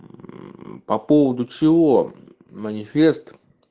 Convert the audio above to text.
мм по поводу чего манифест